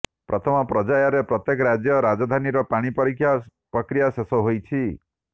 ପ୍ରଥମ ପର୍ଯ୍ୟାୟରେ ପ୍ରତ୍ୟେକ ରାଜ୍ୟର ରାଜଧାନୀର ପାଣି ପରୀକ୍ଷା ପ୍ରକ୍ରିୟା ଶେଷ ହୋଇଛି